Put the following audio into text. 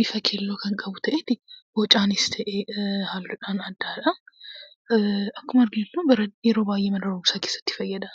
bifa keelloo kan qabu ta'ee bocaanis ta'ee halluudhaan addadha. Akkuma beeknu yeroo baay'ee mana barumsaatiif fayydamna.